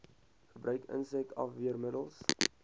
gebruik insek afweermiddels